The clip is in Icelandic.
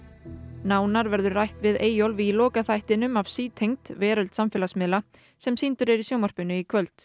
nánar verður rætt við Eyjólf í lokaþættinum af sítengd veröld samfélagsmiðla sem sýndur er í sjónvarpinu í kvöld